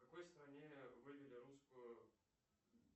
в какой стране вывели русскую